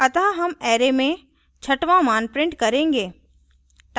अतः हम array में छठवां मान print करेंगे